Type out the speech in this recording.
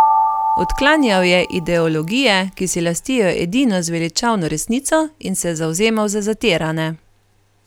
Odklanjal je ideologije, ki si lastijo edino zveličavno resnico, in se zavzemal za zatirane.